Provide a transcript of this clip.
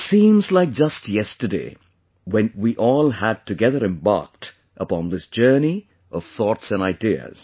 It seems like just yesterday when we had embarked upon this journey of thoughts and ideas